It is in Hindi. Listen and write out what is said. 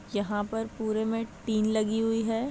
यहाँ पर पूरे में टीन लगी हुई है।